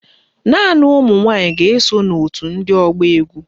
Naanị ụmụnwanyị ga-eso n'òtù ndị ọgba égwú